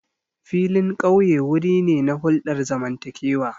Filin ƙauye wuri ne na hulɗar zamantakewa.